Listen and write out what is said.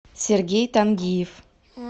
сергей тангиев